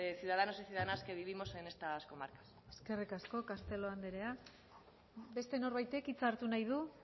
ciudadanos y ciudadanas que vivimos en estas comarcas eskerrik asko castelo anderea beste norbaitek hitza hartu nahi du